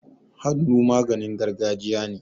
Hannu maganin gargajiya ne.